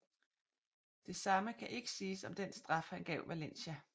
Det samme kan ikke siges om den straf han gav Valencia